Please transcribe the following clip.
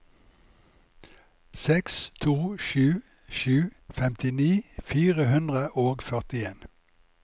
seks to sju sju femtini fire hundre og førtien